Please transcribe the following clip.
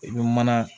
I bɛ mana